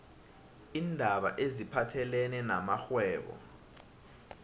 iindaba eziphathelene namrhwebo